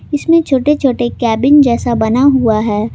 इसमें छोटे छोटे केबिन जिस बना हुआ है।